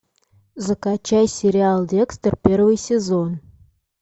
закачай сериал декстер первый сезон